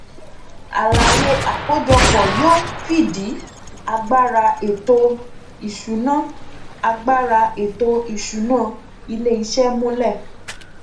àlàyé àkójọpọ yóò fìdí agbára ètò ìsúná agbára ètò ìsúná iléìṣẹ múlẹ